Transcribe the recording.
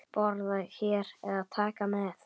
Borða hér eða taka með?